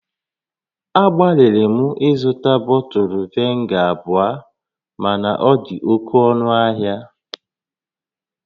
Agbalịrị m ịzụta bọtụlụ vinega abụọ mana ọ dị oke ọnụ ahia